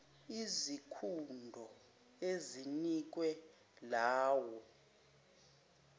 izikhundo ezinikwe laow